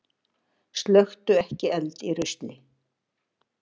Slökktu ekki eld í rusli